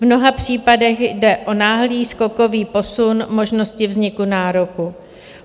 V mnoha případech jde o náhlý skokový posun možnosti vzniku nároku.